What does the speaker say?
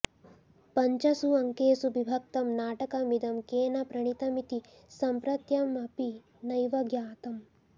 पञ्चस्वङ्केषु विभक्तं नाटकमिदं केन प्रणीतमिति सम्प्रत्यंपि नैव ज्ञातम्